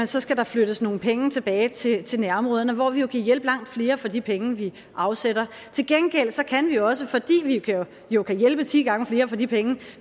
så skal der flyttes nogle penge tilbage til til nærområderne hvor vi jo kan hjælpe langt flere for de penge vi afsætter til gengæld kan vi faktisk også fordi vi jo kan hjælpe ti gange flere for de penge